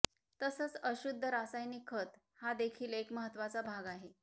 तसंच अशुद्ध रासायनिक खतं हा देखील एक महत्त्वाचा भाग आहे